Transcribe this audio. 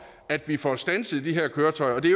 at vi får standset de her køretøjer det